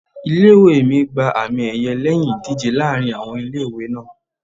Ilé ìwée mi gba àmì ẹ̀yẹ lẹ́yìn ìdíje láàárín àwọn ilé ìwé náà.